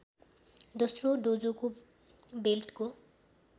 दोस्रो डोजोको बेल्टको